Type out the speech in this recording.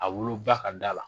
A woloba ka da la